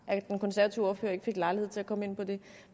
at den konservative ordfører ikke fik lejlighed til at komme ind på det